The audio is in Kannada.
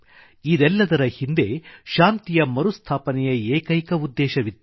ಇದೆಲ್ಲದರ ಹಿಂದೆ ಶಾಂತಿಯ ಮರುಸ್ಥಾಪನೆಯ ಏಕೈಕ ಉದ್ದೇಶವಿತ್ತು